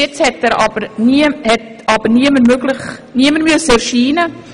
Bisher hat aber niemand erscheinen müssen.